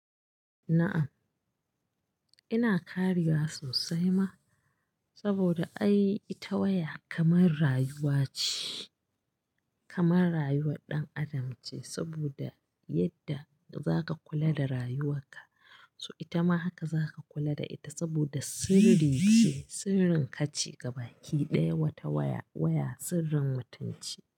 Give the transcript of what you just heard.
Na'am, ina ƙaruwa sosai ma saboda ai ita waya kamar rayuwa ce, kamar rayuwar ɗan adam ce saboda yadda za ka kula da rayuwarka, so ita ma haka za ka kula da ita saboda sirri ce, sirrin ka ce. Gaba ki ɗaya wata waya, waya sirrin mutunci.